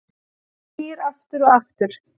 Ham snýr aftur og aftur